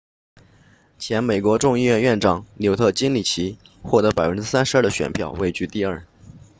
前美国众议院议长纽特金里奇获得 32% 的选票位居第二